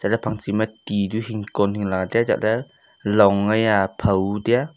ja pang chima ti nu hing kon hingla tai a chatle long hia phao tai a.